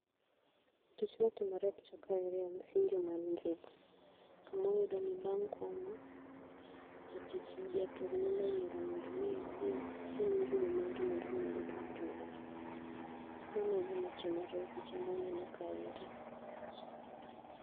Tich matimore e picha kaeri en sinjo mar njugu. Kamwayudo ni bang' komo, jatich japur nyalo yiero mondo mi odhi osinj njugu mare mondo mi oyud mare. Mane e gima timore e picha mwaneno kaeri